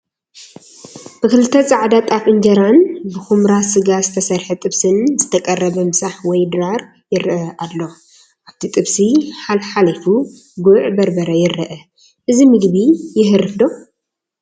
ብኽልተ ፃዕዳ ጣፍ እንጀራን ብኹምራ ስጋ ዝተሰርሐ ጥብስን ዝተቐረበ ምሳሕ ወይ ድራር ይረአ ኣሎ፡፡ ኣብቲ ጥብሲ ሓለ ሓሊፉ ጉዕ በርበረ ይረአ፡፡ እዚ ምግቢ የሀርፍ ዶ?